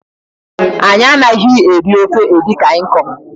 Anyị anaghị eri ofe edikang ikong